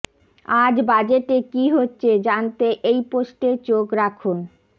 আজ বাজেটে কী হচ্ছে জানতে এই পোষ্টে চোখ রাখুন